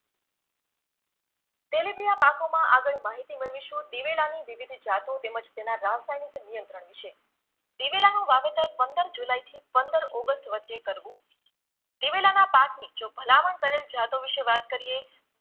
આગળ માહિતી મેળવીશું દિવેલાની વિવિધ જાતો તેમજ તેના રાસાયણિક નિયંત્રણ વિશે દિવેલાનું વાવેતર પંદર જુલાઈથી પંંદર ઓગસ્ટ વચ્ચે કરવુ દિવેલાના પાકની જો ભલામણ કરેલ જાતો વિશે વાત કરીએ